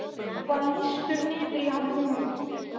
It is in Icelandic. Og það lýstur niður í hann hugmynd